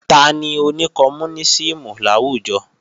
Tani oní kọmúnísìmù láwùjọ?